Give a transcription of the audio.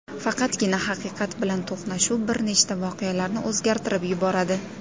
Faqatgina haqiqat bilan to‘qnashuv bir nechta voqealarni o‘zgartirib yuboradi.